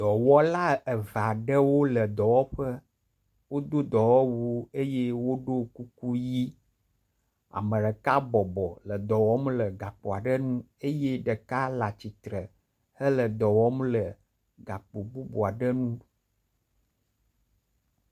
dɔwɔla eveaɖewo le dɔwɔƒe wodó dɔwɔwu eye woɖó kuku yi ameɖeka bɔbɔ le dɔwɔm le gakpoaɖe nu eye ɖeka latsitsre hele dɔwɔm le gakpo bubuaɖe nu